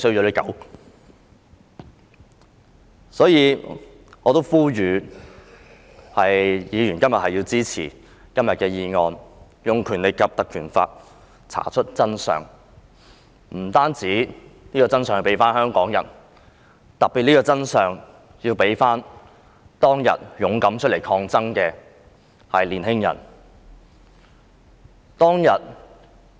因此，我呼籲議員今天要支持這項議案，憑藉《條例》查出真相，還香港人公道，特別是當天出來勇敢抗爭的青年人。